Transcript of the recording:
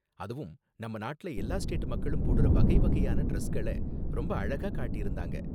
அதுவும் நம்ம நாட்டுல எல்லா ஸ்டேட் மக்களும் போடுற வகை வகையான டிரஸ்கள ரொம்ப அழகா காட்டியிருந்தாங்க.